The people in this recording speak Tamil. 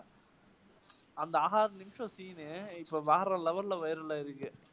அந்த scene இப்போ வேற level ல viral ஆயிருக்கு.